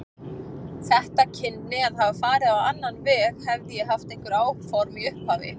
Þetta kynni að hafa farið á annan veg, hefði ég haft einhver áform í upphafi.